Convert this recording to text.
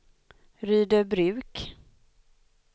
Rydöbruk